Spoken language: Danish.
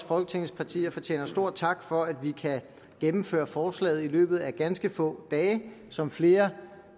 folketingets partier fortjener stor tak for at vi kan gennemføre forslaget i løbet af ganske få dage som flere